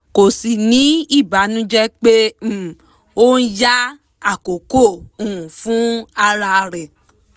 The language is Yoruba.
kò sì ní ìbànújẹ pé um ó ń ya àkókò um fún ara rẹ